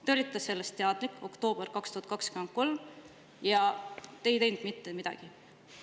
Te olite sellest teadlik oktoobris 2023, aga te ei teinud mitte midagi.